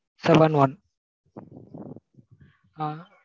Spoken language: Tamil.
seven one ah?